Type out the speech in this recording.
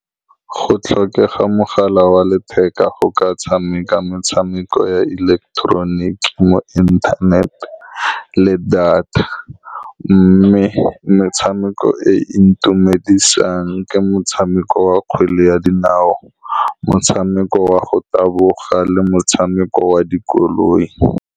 Go tlhokega mogala wa letheka go ka tshameka metshameko ya ileketeroniki mo internet-e le data, mme metshameko e e ntumedisang ke motshameko wa kgwele ya dinao, motshameko wa go taboga, le motshameko wa dikoloi.